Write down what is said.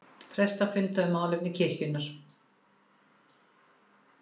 Prestar funda um málefni kirkjunnar